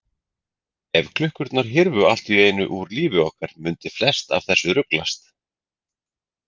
Ef klukkurnar hyrfu allt í einu úr lífi okkar mundi flest af þessu ruglast.